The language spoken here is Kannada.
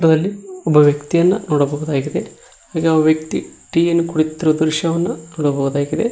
ಅಲ್ಲಿ ಒಬ್ಬ ವ್ಯಕ್ತಿಯನ್ನ ನೋಡಬಹುದಾಗಿದೆ ಆಗೆ ಆ ವ್ಯಕ್ತಿ ಟೀ ಯನ್ನ ಕುಡಿಯುತ್ತಿರುವ ದೃಶ್ಯವನ್ನು ನೋಡಬಹುದಾಗಿದೆ.